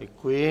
Děkuji.